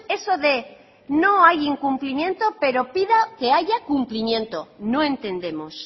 eso de no hay incumplimiento pero pido que haya cumplimiento no entendemos